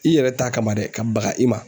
I yɛrɛ ta kama dɛ ka baga i ma